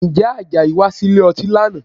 Ǹjẹ́ Àjàyí wá sílè ọtí lánàá?